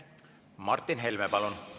Martin Helme, palun!